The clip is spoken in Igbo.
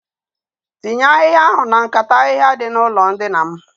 Tinye ahihaia ahụ na nkata ahihia dị n'ụlọ dina m